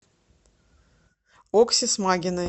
окси смагиной